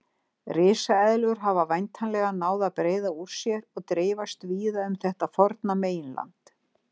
Risaeðlur hafa væntanlega náð að breiða úr sér og dreifast víða um þetta forna meginland.